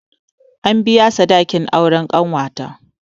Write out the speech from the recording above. An biya sadakin auren ƙanwata